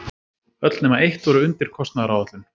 Öll nema eitt voru undir kostnaðaráætlun